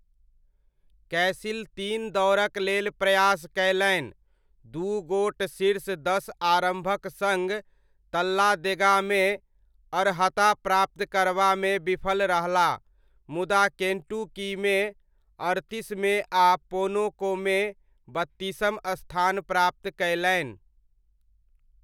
कैसिल तीन दौड़क लेल प्रयास कयलनि, दू गोट शीर्ष दस आरम्भक सङ्ग तल्लादेगामे अर्हता प्राप्त करबामे विफल रहलाह मुदा केण्टुकीमे अड़तीसमे आ पोनोकोमे बत्तीसम स्थान प्राप्त कयलनि।